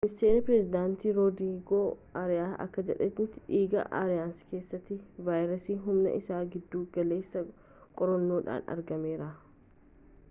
ministeeri pireezidantii roodrigoo ariyaas akka jedhanitti dhiiga aariyaas keessatti vaayirasii humni isaa giddu galeessaa qorannoodhaan argameera